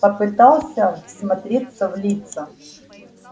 попытался всмотреться в лица